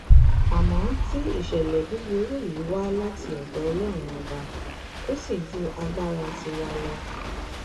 àmọ tí ìṣẹlẹ búburú yìí wá láti ọdọ ọlọrun ọba ò sì ju agbára tiwa lọ